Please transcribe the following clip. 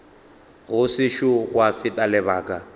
go sešo gwa feta lebaka